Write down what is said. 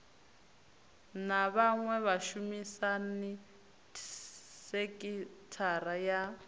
na vhaṅwe vhashumisani sekithara ya